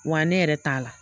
Wa ne yɛrɛ t'a la.